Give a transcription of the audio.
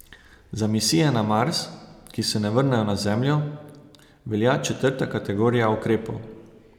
Za misije na Mars, ki se ne vrnejo na Zemljo, velja četrta kategorija ukrepov.